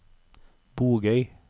Bogøy